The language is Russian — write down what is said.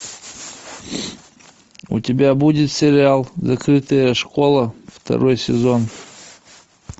у тебя будет сериал закрытая школа второй сезон